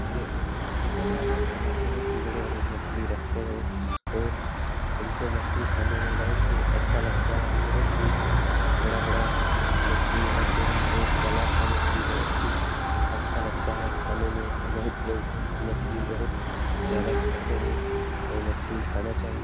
ये एक मछली बाजार है। यहाँ बहुत ही बड़े-बड़े मछली रखते हैं और और हमको मछली खाने में बहुत ही अच्छा लगता है। बहुत ही बड़ा-बड़ा मछली यहाँ पे है और तालब का मछली बहुत ही अच्छा लगता है खाने मे बहुत लोग मछली बहुत ज़्यादा खाते हैं और मछली खाना चाहिए।